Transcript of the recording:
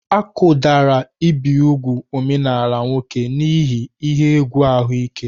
Akụdara ibi úgwù omenaala nwoke n'ihi ihe egwu ahụike.